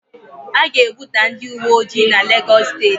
A ga-ebuga ndị uweojii n'Legọs steeti